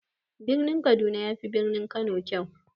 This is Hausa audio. Birin kaduna yafi birnin kano kyau.